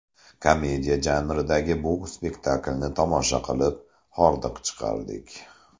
Komediya janridagi bu spektaklni tomosha qilib, hordiq chiqardik.